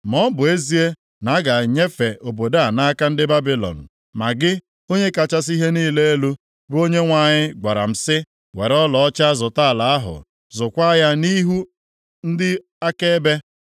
Ma ọ bụ ezie na a ga-enyefe obodo a nʼaka ndị Babilọn, ma gị, Onye kachasị ihe niile elu, bụ Onyenwe anyị gwara m sị, ‘Were ọlaọcha zụta ala ahụ. Zụkwaa ya nʼihu ndị akaebe.’ ”